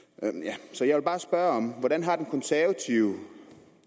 så jeg vil bare spørge hvordan har de konservative